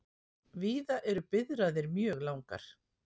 Víða eru biðraðir mjög langar